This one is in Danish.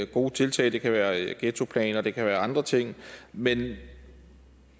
gode tiltag det kan være ghettoplaner og det kan være andre ting men